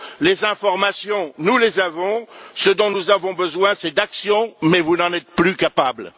Les informations, nous les avons, ce dont nous avons besoin c'est d'actions mais vous n'en êtes plus capables.